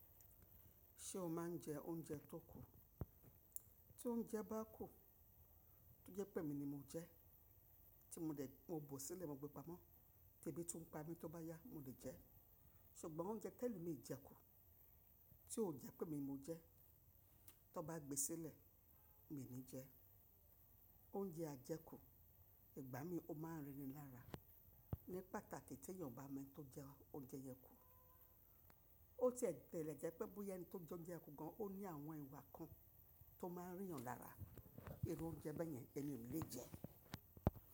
Ṣé o máa ń jẹ oúnjẹ tó kù? Tí oúnjẹ bá kù, ó jẹ́ pé mi ni mo jẹ, tí mo dẹ̀ mọ bò sílẹ̀, mo gbé pamọ́, tí èmi tún ń pa mí, tó bá yá, mo lè jẹ. Ṣùgbọ́n oúnjẹ tẹ́lo mi ì jẹ kù, tí ò jẹ́ pé mi mo jẹ, tó bá gbé sílẹ̀, mi ò ní jẹ. Oúnjẹ ajẹ́ kù, ìgbá mi ó máa ń rín ni lára. Ni pàtàkì tí èèyàn o bá mọ ẹni tó jẹ oúnjẹ yẹn kù, ó ti ẹ̀gbẹ́ ìrẹ̀jẹ́ pé bóyá ẹni tó jẹ oúnjẹ kù gan, ó ní àwọn ìwà kan tó máa ń rí yan lára. Irú oúnjẹ bẹ́yẹn, ẹmi ò ni lè jẹ.